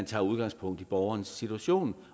tager udgangspunkt i borgerens situation